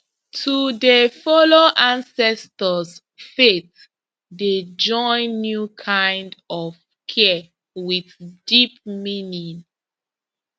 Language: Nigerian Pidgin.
to dey follow ancestors faith dey join new kind of care with deep meaning